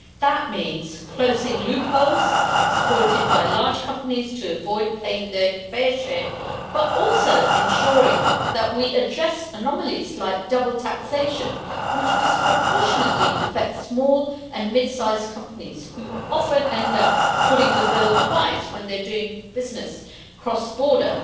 That means closing loopholes exploited by large companies to avoid paying their fair share, but also ensuring that we address anomalies like double taxation, which disproportionately affect small— and medium-sized companies who often end up footing the bill twice when they are doing business cross border.